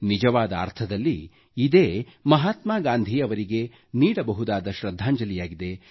ನಿಜವಾದ ಅರ್ಥದಲ್ಲಿ ಇದೇ ಮಹಾತ್ಮಾ ಗಾಂಧೀ ಅವರಿಗೆ ನೀಡಬಹುದಾದ ಶೃದ್ಧಾಂಜಲಿಯಾಗಿದೆ